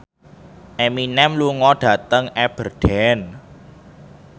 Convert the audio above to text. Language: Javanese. Eminem lunga dhateng Aberdeen